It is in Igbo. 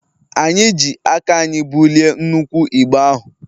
anyị ji aka anyị bulie nnukwu igbe ahụ